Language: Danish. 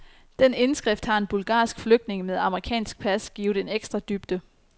Den indskrift har en bulgarsk flygtning, med amerikansk pas, givet en ekstra dybde.